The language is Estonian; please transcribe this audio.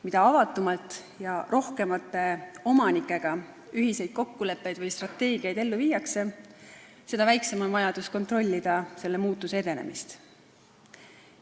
Mida avatumalt ja rohkemate omanikega ühiseid kokkuleppeid või strateegiaid ellu viiakse, seda väiksem on vajadus kontrollida selle muutuse edenemist.